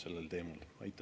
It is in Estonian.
Aitäh!